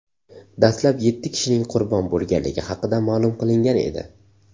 Dastlab yetti kishining qurbon bo‘lganligi haqida ma’lum qilingan edi.